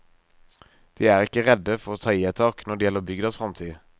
De er ikke redde for å ta i et tak når det gjelder bygdas framtid.